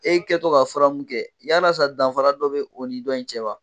E kɛtɔ ka fura mu kɛ yalasa danfara dɔ be o ni dɔn in cɛ wa?